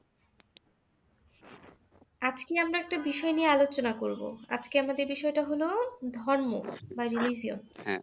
আজকে আমরা একটা বিষয় নিয়ে আলোচনা করবো, আজকে আমাদের বিষয়টা হলো ধর্ম বা religion